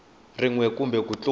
rin we kumbe ku tlula